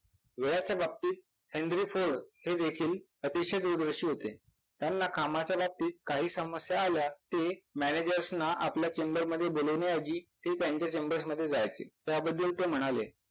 वेळाच्या बाबतीत हे देखील अतिशय दूरदर्शी होते. त्यांना कामाच्या बाबतीत काही समस्या आल्या ते managers ना आपल्या chamber मध्ये बोलवण्याऐवजी ते त्यांच्या chambersमध्ये जायचे. त्याबद्दल ते म्हणाले